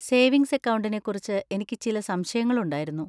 Savings അക്കൗണ്ടിനെ കുറിച്ച് എനിക്ക് ചില സംശയങ്ങൾ ഉണ്ടായിരുന്നു.